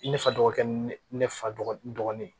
I ne fa dɔgɔkɛ ni ne fa dɔgɔnin n dɔgɔnin